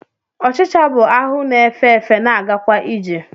Ọchịcha bụ ahụ na-efe efe, na-agakwa ije